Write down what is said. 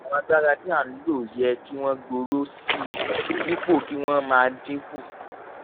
àwọn agbára tí a ń lò yẹ kí wọ́n gbòòrò sí i dípò kí wọ́n máa dínkù.